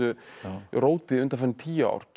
róti undanfarin tíu ár getum